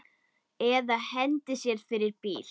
Eða hendi sér fyrir bíl.